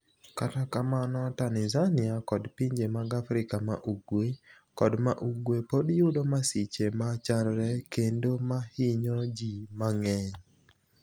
Kata kamano, Tanizaniia kod pinije mag Afrika ma ugwe kod ma ugwe pod yudo masiche ma chalre kenido ma hiniyo ji manig'eniy.